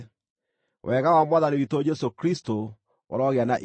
Wega wa Mwathani witũ Jesũ Kristũ ũrogĩa na inyuĩ.